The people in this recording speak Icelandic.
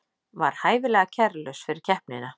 Var hæfilega kærulaus fyrir keppnina